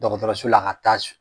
Dɔgɔtɔrɔso la ka taa